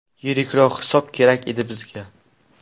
Yirikroq hisob kerak edi bizga.